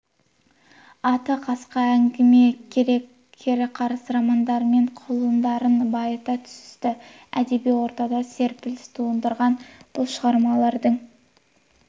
атты қысқа әңгіме кере қарыс романдарымен құнарландырып байыта түсті әдеби ортада серпіліс тудырған бұл шығармалардың